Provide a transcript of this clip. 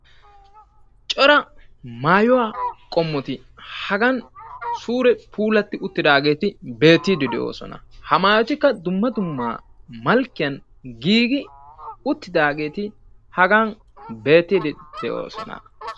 cora maayuwa qommoti hagan suure puulati uttidaageti hagan beetide de'oosona; ha maayotikka dumma dumma malikkiyan giigi uttidageeti hagan beettide de'oosona